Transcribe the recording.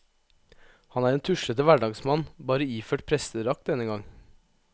Han er en tuslete hverdagsmann, bare iført prestedrakt denne gang.